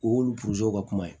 U y'olu ka kuma ye